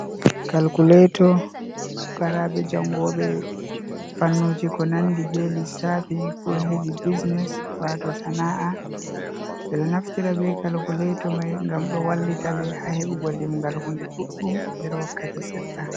Kalkuleto pukaraaɓe jangoɓe fannuji ko nandi be lisafi ko hedi bisines wato sana’a ɓeɗo naftira be kalkuleto mai ngam ɗo wallita ɓe ha hebugo limgal hunde ɗuɗɗum nder wakkati sedda.